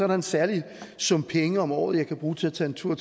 der en særlig sum penge om året jeg kan bruge til at tage en tur